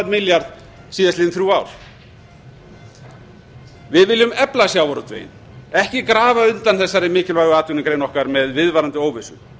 milljarð síðastliðin þrjú ár við viljum efla sjávarútveginn ekki grafa undan þessari mikilvægu atvinnugrein okkar með viðvarandi óvissu